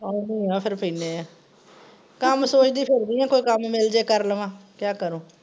ਆਉਣੀ ਆ ਫੇਰ ਪੀਨੇ ਆ। ਕੱਮ ਸੋਚਦੀ ਫ਼ਿਰਦੀ ਆਂ ਕੋਈ ਕੱਮ ਮਿਲਜੇ ਕਰ ਲਵਾਂ। ਕਿਆ ਕਰੂੰ?